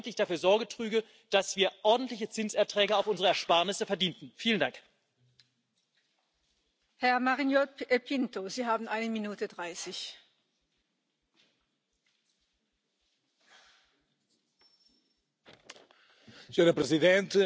Es preciso recordar que las pensiones están relacionadas con el empleo, con buenos salarios, estable y con derechos. Por eso hay que terminar con la precariedad, la temporalidad, los contratos de hora cero que sufren los jóvenes.